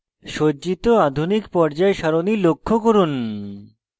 সজ্জিত আধুনিক পর্যায় সারণী লক্ষ্য করুন